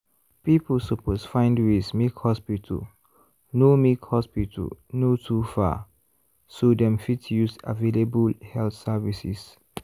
people suppose find ways make hospital no make hospital no too far so dem fit use available health services.